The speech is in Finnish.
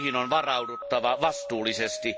Niihin on varauduttava vastuullisesti.